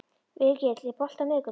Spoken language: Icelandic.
Virgill, er bolti á miðvikudaginn?